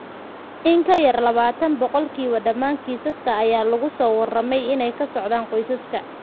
In ka yar labatan boqolkiiba dhammaan kiisaska ayaa lagu soo warramey inay ka socdaan qoysaska.